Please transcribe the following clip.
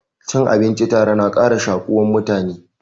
Cin abinci tare na ƙara shakuwan mutane.